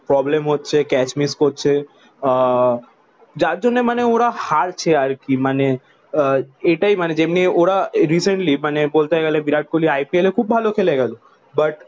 Problem হচ্ছে catch miss করছে। আহ যার জন্যে মানে ওরা হারছে আর কি। আহ মানে এটাই মানে যেমনি ওরা রিসেন্টলি মানে বলতে গেলে বিরাট কোহলি IPL এ খুব ভালো খেলে গেল। বাট